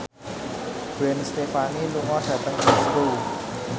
Gwen Stefani lunga dhateng Glasgow